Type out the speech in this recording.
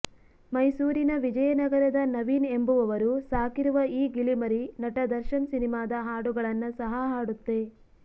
ಮೈಸೂರಿನ ವಿಜಯನಗರದ ನವೀನ್ ಎಂಬುವವರು ಸಾಕಿರುವ ಈ ಗಿಳಿಮರಿ ನಟ ದರ್ಶನ್ ಸಿನಿಮಾದ ಹಾಡುಗಳನ್ನ ಸಹ ಹಾಡುತ್ತೆ